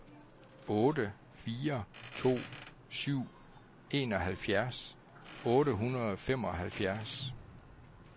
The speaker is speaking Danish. otte fire to syv enoghalvfjerds otte hundrede og femoghalvfjerds